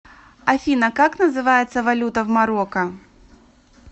афина как называется валюта в марокко